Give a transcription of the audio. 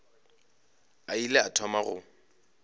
a ile a thoma go